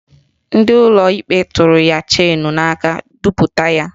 Ndị ụlọ ikpe tụrụ ya cheenu n'aka duputa ya.